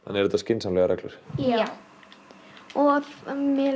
eru þetta skynsamlegar reglur já og mér